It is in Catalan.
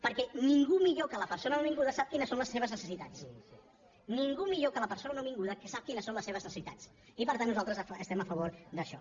perquè ningú millor que la persona nouvinguda sap quines són les seves necessitats ningú millor que la persona nouvinguda sap quines són les seves necessitats i per tant nosaltres estem a favor d’això